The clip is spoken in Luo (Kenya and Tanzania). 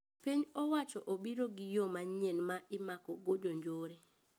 Piny owacho obiro gi yoo manyien ma imako go jo njore